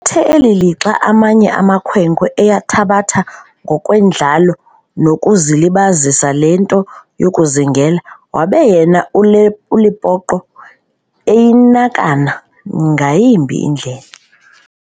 Athe eli lixa amanye amakhwenkwe eyithabatha ngokwendlalo nokuzilibazisa le nto yokuzingela, wabe yena uLepoqo eyinakana ngayimbi indlela.